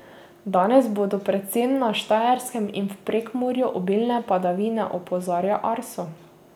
Danes bodo predvsem na Štajerskem in v Prekmurju obilne padavine, opozarja Arso.